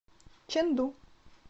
чэнду